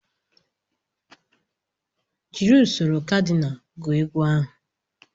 Jiri usoro kadinal gụọ ego ahụ